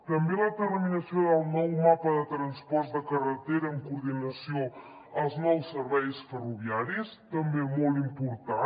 també la terminació del nou mapa de transports de carretera en coordinació amb els nous serveis ferroviaris també molt important